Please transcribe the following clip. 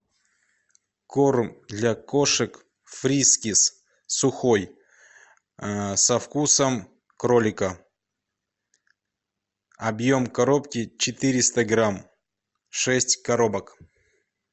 корм для кошек фрискис сухой со вкусом кролика объем коробки четыреста грамм шесть коробок